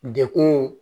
Dekun